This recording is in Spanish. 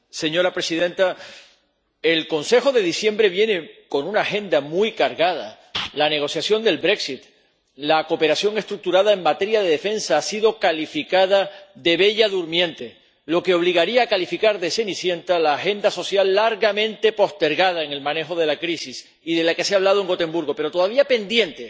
Señora presidenta, el Consejo de diciembre viene con una agenda muy cargada la negociación del la cooperación estructurada en materia de defensa, que ha sido calificada de Bella Durmiente, lo que obligaría a calificar de Cenicienta a la agenda social, largamente postergada en el manejo de la crisis y de la que se habló en Gotemburgo, pero que todavía está pendiente